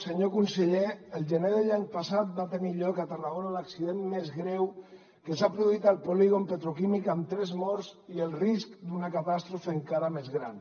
senyor conseller el gener de l’any passat va tenir lloc a tarragona l’accident més greu que s’ha produït al polígon petroquímic amb tres morts i el risc d’una catàstrofe encara més gran